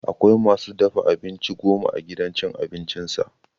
Akwai ma su dafa abinci goma a gidan cin abincinsa.